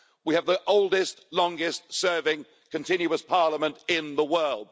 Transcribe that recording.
We have the oldest, longest serving continuous parliament in the world.